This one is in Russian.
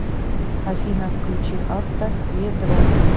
афина включи авто ведро